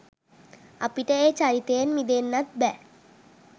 අපිට ඒ චරිතයෙන් මිදෙන්නත් බෑ.